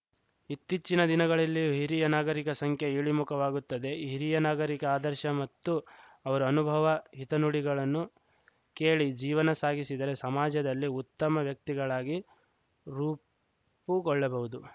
ಇತ್ತೀಚಿನ ದಿನಗಳಲ್ಲಿ ಹಿರಿಯ ನಾಗರಿಕರ ಸಂಖ್ಯೆ ಇಳಿಮುಖವಾಗುತ್ತದೆ ಹಿರಿಯ ನಾಗರಿಕ ಆದರ್ಶ ಮತ್ತು ಅವರ ಅನುಭವ ಹಿತನುಡಿಗಳನ್ನು ಕೇಳಿ ಜೀವನ ಸಾಗಿಸಿದರೆ ಸಮಾಜದಲ್ಲಿ ಉತ್ತಮ ವ್ಯಕ್ತಗಳಾಗಿ ರೂಪುಗೊಳ್ಳಬಹುದು